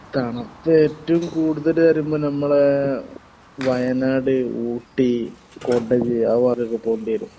തണുപ്പ് ഏറ്റവും കൂടുതൽ വരുമ്പോ നമ്മടെ വയനാട് ഊട്ടി കൊടക് അത് വരെ ഒക്കെ പോണ്ടേരും